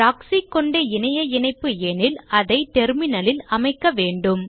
proxy கொண்ட இணைய இணைப்பு எனில் அதை terminal ல் அமைக்க வேண்டும்